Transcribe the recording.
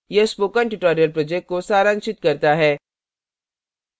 यह spoken tutorial project को सारांशित करता है